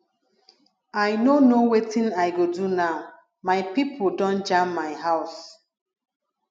i no know wetin i go do now my pipo don jam my house